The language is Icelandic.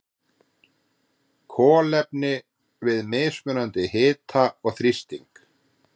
Kolefni við mismunandi hita og þrýsting.